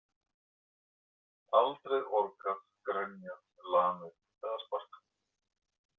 Aldrei orgað, grenjað, lamið og sparkað.